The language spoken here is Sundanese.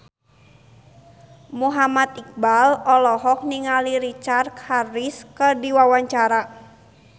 Muhammad Iqbal olohok ningali Richard Harris keur diwawancara